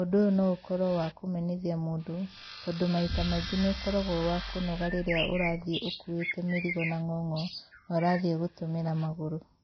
Ũndũ ũyũ no ũkorwo wa kũnogithia mũndũ, tondũ maita maingĩ nĩ ũkoragwo wa kũnoga rĩrĩa ũrathiĩ ũkuĩte mĩrigo na ng'ong'o no ũrathiĩ gũtũmĩra magũrũ.